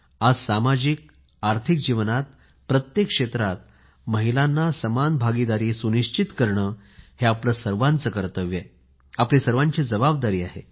आज सामजिक आर्थिक जीवनात प्रत्येक क्षेत्रात महिलांना समान भागीदारी सुनिश्चित करणे हे आपले सर्वांचे कर्तव्य आहे आपली सर्वांची जबाबदारी आहे